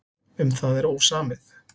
Um það er ósamið.